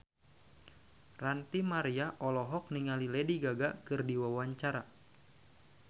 Ranty Maria olohok ningali Lady Gaga keur diwawancara